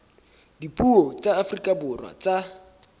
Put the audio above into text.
dipuo tsa afrika borwa tsa